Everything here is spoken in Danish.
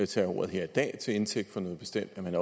tage ordet her i dag til indtægt for noget bestemt at man